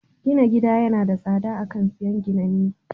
Gina gida yana da tsada a kan siyan ginanne.